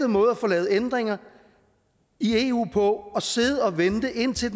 måde at få lavet ændringer i eu på at sidde og vente indtil